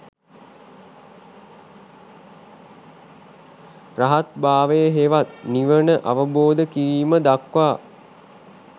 රහත් භාවය හෙවත් නිවන අවබෝධ කිරීම දක්වා